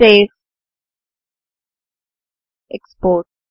సావెగ్ట్గ్టెక్స్పోర్ట్